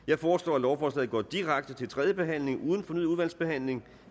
jeg foreslår at lovforslaget går direkte til tredje behandling uden fornyet udvalgsbehandling